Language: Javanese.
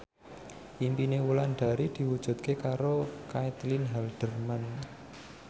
impine Wulandari diwujudke karo Caitlin Halderman